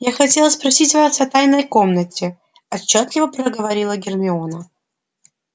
я хотела спросить вас о тайной комнате отчётливо проговорила гермиона